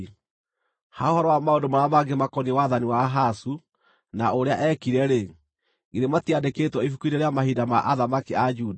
Ha ũhoro wa maũndũ marĩa mangĩ makoniĩ wathani wa Ahazu, na ũrĩa eekire-rĩ, githĩ matiandĩkĩtwo ibuku-inĩ rĩa mahinda ma athamaki a Juda?